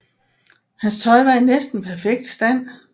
Hans tøj var i næsten perfekt stand